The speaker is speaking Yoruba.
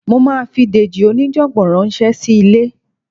Mo máa fi Dèjì oníjàngbọ̀n ránṣẹ́ sí ilé